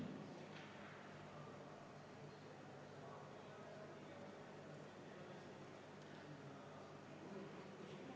Kindlasti kuuluvad siia ka tööjõumaksud ja tootmissisendid, et hoida neid ettevõtjale võimalikult sõbralikul tasemel.